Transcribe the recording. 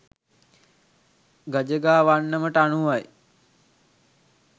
ගජගා වන්නමට අනුවයි.